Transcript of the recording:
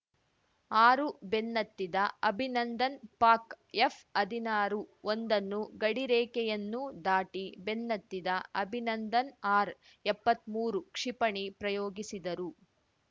ಆರು ಬೆನ್ನತ್ತಿದ ಅಭಿನಂದನ್‌ ಪಾಕ್‌ ಎಫ್‌ಹದಿನಾರು ಒಂದನ್ನು ಗಡಿ ರೇಖೆಯನ್ನೂ ದಾಟಿ ಬೆನ್ನತ್ತಿದ ಅಭಿನಂದನ್‌ ಆರ್‌ಎಪ್ಪತ್ಮೂರು ಕ್ಷಿಪಣಿ ಪ್ರಯೋಗಿಸಿದರು